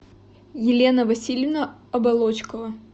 елена васильевна оболочкова